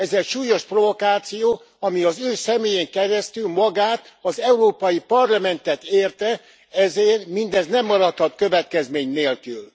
Ez egy súlyos provokáció, ami az ő személyén keresztül magát az Európai Parlamentet érte, ezért mindez nem maradhat következmény nélkül.